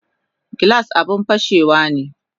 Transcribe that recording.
Glass abun fashewane